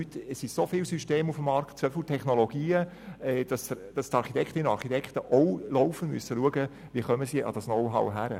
Heute sind so viele Systeme auf dem Markt, so viele Technologien, dass die Architektinnen und Architekten auch laufend dafür sorgen müssen, wie sie an das Know-how kommen.